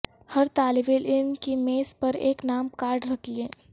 ہر طالب علم کی میز پر ایک نام کارڈ رکھیں